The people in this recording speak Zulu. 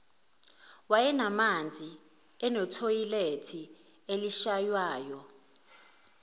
wayenamanzi enethoyilethe elishaywayo